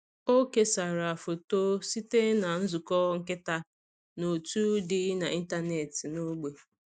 Ọ kesara foto site na nzukọ nkịta n’òtù dị n’ịntanetị n’ógbè.